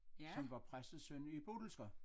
Som var præstesøn i Bodilsker